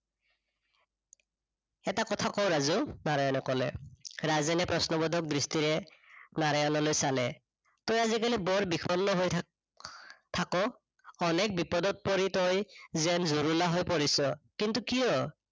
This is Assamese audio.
এটা কথা কঁও ৰাজু, নাৰায়ণে কলে, ৰাজেনে প্ৰশ্নবোধক দৃষ্টিৰে, নাৰায়ণলৈ চালে। তই আজিকালি বৰ বিষন্ন হৈ থাথাক অনেক বিপদত পৰি তই যেন জুৰুলা হৈ পৰিছ, কিন্তু কিয়?